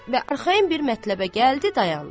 Və arxayın bir mətləbə gəldi dayandı.